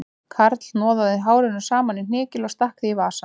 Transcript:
Karl hnoðaði hárinu saman í hnykil og stakk því í vasann